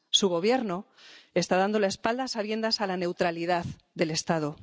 Su Gobierno está dando la espalda, a sabiendas, a la neutralidad del Estado.